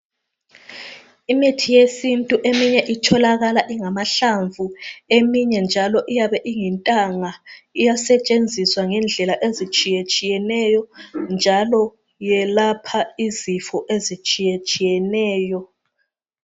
Imithi yesintu eminye itholakala ingamahlamvu eminye iyabe iyintanga iyasetshenziswa ngendlela ezitshiyetshiyeneyo njalo yelapha izifo ezitshiyeneyo